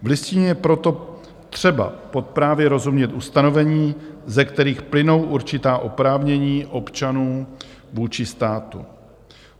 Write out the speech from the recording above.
V Listině je proto třeba právě rozumět ustanovením, ze kterých plynou určitá oprávnění občanů vůči státu.